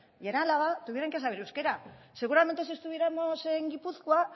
en álava tuvieran que saber euskera seguramente si estuviéramos en gipuzkoa